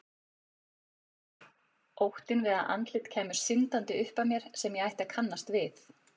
Óttinn við að andlit kæmu syndandi upp að mér sem ég ætti að kannast við.